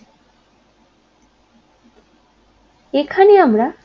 এখানে আমরা